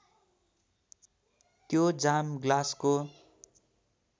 त्यो जाम ग्लासको